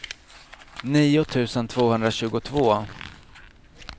nio tusen tvåhundratjugotvå